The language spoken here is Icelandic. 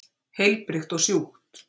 Heilbrigt og sjúkt.